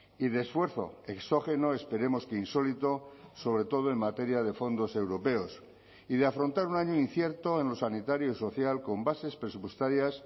y de esfuerzo exógeno esperemos que insólito sobre todo en materia de fondos europeos y de afrontar un año incierto en lo sanitario y social con bases presupuestarias